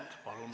Palun!